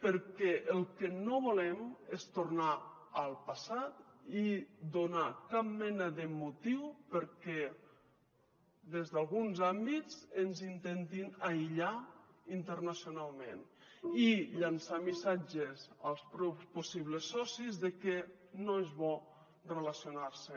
perquè el que no volem és tornar al passat i donar cap mena de motiu perquè des d’alguns àmbits ens intentin aïllar internacionalment i llençar missatges als possibles socis de que no és bo relacionar se